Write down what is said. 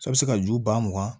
A bɛ se ka ju ba mugan